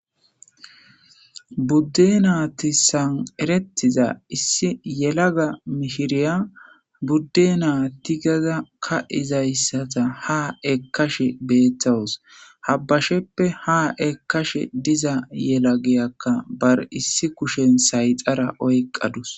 Budde naati san'erettiza issi yelaga mishiriya budde naatigaza ka izayssata ha ekkashe beettawus habbasheppe ha ekashe diza yelagiyakka bar issi kushen sayxara oyqqadus.